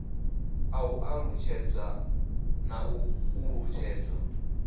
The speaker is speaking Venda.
u ṱalutshedzwa na u ṱuṱuwedzwa